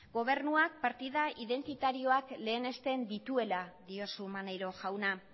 gobernuak partida identitarioak lehenesten dituela diozu maneiro jauna